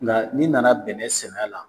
Nga n'i nana bɛnɛ sɛnɛ a la